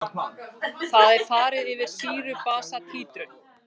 Þar er farið yfir sýru-basa títrun.